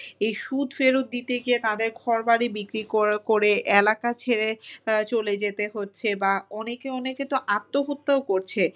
এই সুদ ফেরত দিতে গিয়ে তাঁদের ঘরবাড়ি বিক্রি করে এলাকা ছেড়ে চলে যেতে হচ্ছে বা অনেকে অনেকে তো আত্মহত্যাও করছে।